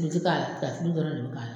O t'i k'ala tiga tulu dɔrɔn de bi k'a la